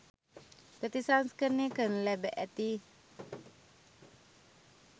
ප්‍රතිසංස්කරණය කරනු ලැබ ඇති,